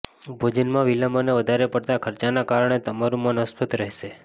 ભોજનમાં વિલંબ અને વધારે પડતા ખર્ચાના કારણે તમારું મન અસ્વસ્થ રહેશે